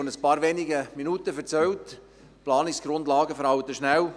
Vor ein paar wenigen Minuten haben Sie erzählt, die Planungsgrundlagen würden rasch veralten.